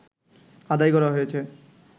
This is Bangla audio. আদায় করা হয়েছে